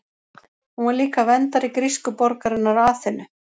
Hún var líka verndari grísku borgarinnar Aþenu.